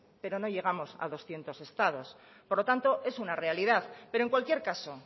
pero no llegamos a doscientos estados por lo tanto es una realidad pero en cualquier caso